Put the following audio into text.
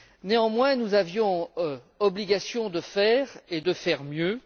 Néanmoins, nous avions l'obligation de faire et de faire mieux.